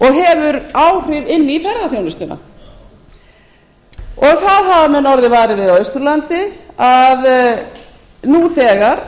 hefur áhrif inn í ferðaþjónustuna það hafa menn orðið varir við á austurlandi nú þegar